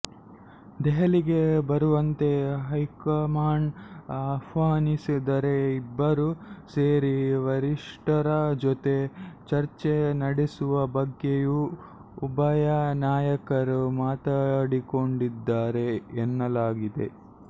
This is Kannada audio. ದೆಹಲಿಗೆ ಬರುವಂತೆ ಹೈಕಮಾಂಡ್ ಆಹ್ವಾನಿಸಿದರೆ ಇಬ್ಬರೂ ಸೇರಿ ವರಿಷ್ಠರ ಜೊತೆ ಚರ್ಚೆ ನಡೆಸುವ ಬಗ್ಗೆಯೂ ಉಭಯ ನಾಯಕರು ಮಾತಾಡಿಕೊಂಡಿದ್ದಾರೆ ಎನ್ನಲಾಗಿದೆ